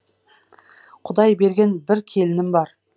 құдай берген бір келінім бар